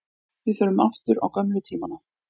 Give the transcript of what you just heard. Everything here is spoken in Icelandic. Við förum aftur á gömlu tímana.